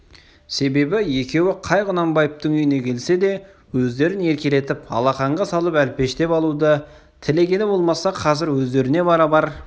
себебі екеуі қай құнанбаевтың үйіне келсе де өздерін еркелетіп алақанға салып әлпештеп алуды тілегені болмаса қазір өздеріне барабар